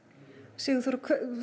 Sigurþóra